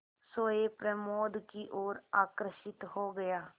सोए प्रमोद की ओर आकर्षित हो गया